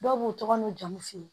Dɔw b'u tɔgɔ n'u jamu f'u ye